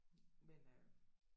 Men øh